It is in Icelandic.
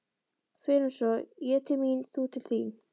Förum svo, ég til mín, þú til þín.